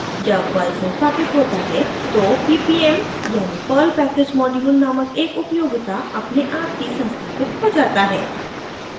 जब पर्ल संस्थापित होता है तो ppm यानि perl package module नामक एक उपयोगिता अपने आप ही संस्थापित हो जाता है